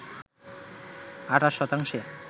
২৮ শতাংশে